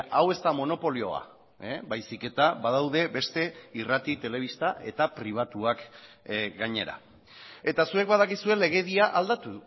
hau ez da monopolioa baizik eta badaude beste irrati telebista eta pribatuak gainera eta zuek badakizue legedia aldatu